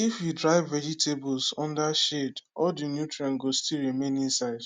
if you dry vegetables under shade all the nutrients go still remain inside